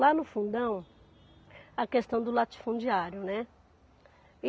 Lá no Fundão, a questão do latifundiário, né?